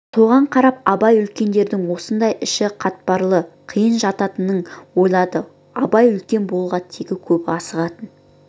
соған қарап абай үлкендердің осындай іші қатпарлы қиын жататынын ойлады абай үлкен болуға тегі көп асығатын